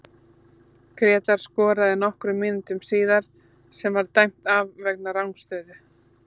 Grétar skoraði nokkrum mínútum síðar sem var dæmt af vegna rangstöðu.